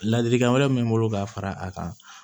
Ladilikan wɛrɛ min bɛ n bolo ka fara a kan